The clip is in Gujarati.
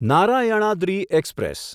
નારાયણાદ્રિ એક્સપ્રેસ